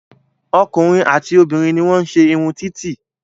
Ọkùnrin àti obìnrin ní wọ́n ń se irun títì